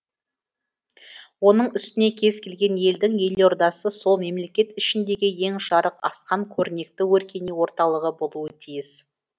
оның үстіне кез келген елдің елордасы сол мемлекет ішіндегі ең жарқын асқан көрнекті өркени орталығы болуы тиіс